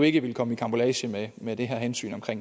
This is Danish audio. ikke vil komme i karambolage med med det her hensyn om at